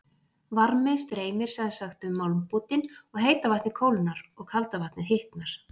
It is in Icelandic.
Varmi streymir sem sagt um málmbútinn og heita vatnið kólnar og kalda vatnið hitnar.